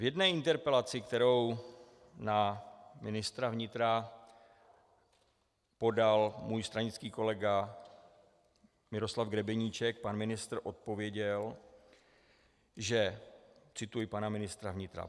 V jedné interpelaci, kterou na ministra vnitra podal můj stranický kolega Miroslav Grebeníček, pan ministr odpověděl, že - cituji pana ministra vnitra: